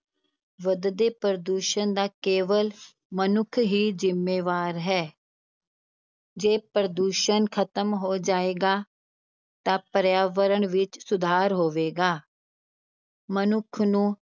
ਵਧਦੇ ਪ੍ਰਦੂਸ਼ਣ ਦਾ ਕੇਵਲ ਮਨੁੱਖ ਹੀ ਜਿੰਮੇਵਾਰ ਹੈ ਜੇ ਪ੍ਰਦੂਸ਼ਣ ਖ਼ਤਮ ਹੋ ਜਾਏਗਾ ਤਾਂ ਪਰਿਆਵਰਣ ਵਿੱਚ ਸੁਧਾਰ ਹੋਵੇਗਾ ਮਨੁੱਖ ਨੂੰ